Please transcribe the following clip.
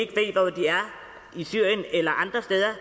i syrien eller andre steder